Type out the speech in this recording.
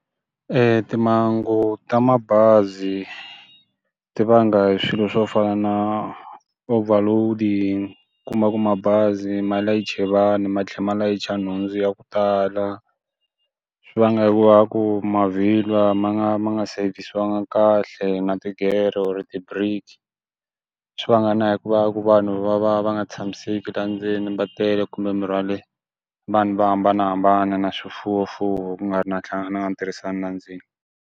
timhangu ta mabazi ti vanga hi swilo swo fana na overload kuma ku mabazi ma leyiche vanhu ma tlhe ma layicha nhundzu ya ku tala swi vanga hi ku va ku mavhilwa ma nga ma nga savesiwanga kahle na tigere or ti brake swi vanghana hi ku va ku vanhu va va va nga tshamiseki la ndzeni va tele kumbe mi rhwale vanhu vo hambanahambana na swifuwo mfuwo ku nga ri na na na tirhisano la ndzeni.